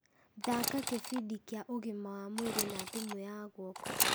thaaka gĩbindi kĩa ũgima wa mwĩrĩ na thĩmũ ya guoko